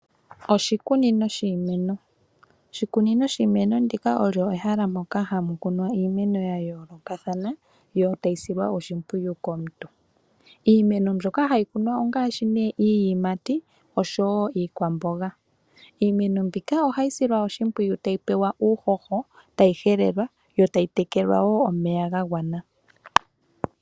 Oshikunino shiimeno Oshikunino shiimeno ndika olyo ehala moka hamu kunwa iimeno ya yoolokathana, yo tayi silwa oshimpwiyu komuntu. Iimeno mbyoka hayi kunwa ongaashi nee iiyimati osho wo iikwamboga. Iimeno mbika ohayi silwa oshimpwiyu tayi pewa uuhoho, tayi helelwa yo tayi tekelwa wo omeya ga gwana.